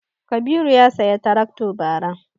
Kabiru ya saya tarakto bara